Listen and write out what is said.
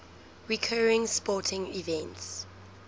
recurring sporting events